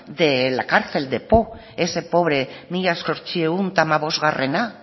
de la cárcel de ese pobre mila zortziehun eta hamabostgarrena